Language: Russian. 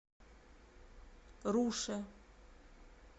руше